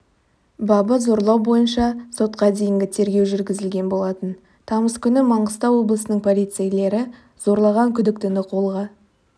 бабы зорлау бойынша сотқа дейінгі тергеу жүргізілген болатын тамыз күні маңғыстау облысының полицейлері зорлаған күдіктіні қолға